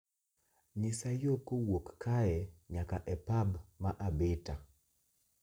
Nyisa yo kowuok kae nyaka e pub ma Abita